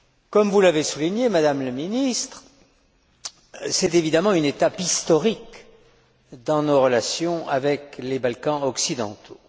Comme vous l'avez souligné, Madame la Ministre, c'est évidemment une étape historique dans nos relations avec les Balkans occidentaux.